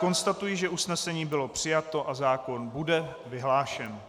Konstatuji, že usnesení bylo přijato a zákon bude vyhlášen.